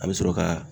A bɛ sɔrɔ ka